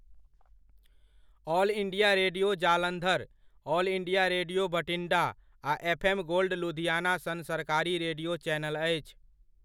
All India radio, Jalandhar, all India radio, Bathinda आ FM. Gold Ludhiana सन सरकारी रेडिओ चैनल अछि।